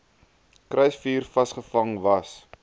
kruisvuur vasgevang was